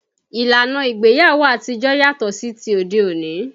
Ìlànà ìgbéyàwó àtijó yàtọ̀ sí ti òde òní